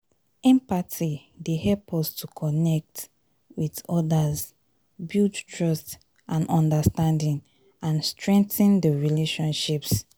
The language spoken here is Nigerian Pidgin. empathy dey help us to connect with odas build trust and understanding and strengthen di relationships.